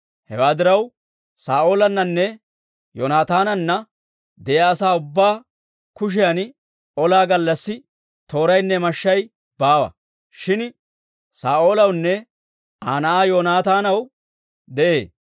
Hewaa diraw, Saa'oolannanne Yoonaataananna de'iyaa asaa ubbaa kushiyan olaa gallassi tooraynne mashshay baawa; shin Saa'oolawunne Aa na'aa Yoonataanaw de'ee.